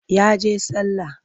Ya je sallah.